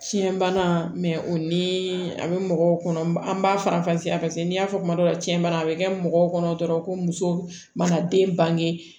Fiɲɛbana o ni a bɛ mɔgɔw kɔnɔ an b'a faranfasiya paseke n' y'a fɔ kuma dɔ la cɛn bana a bɛ kɛ mɔgɔw kɔnɔ dɔrɔn ko muso mana den bange